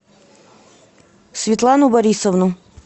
светлану борисовну